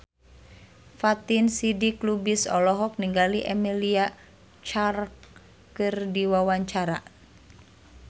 Fatin Shidqia Lubis olohok ningali Emilia Clarke keur diwawancara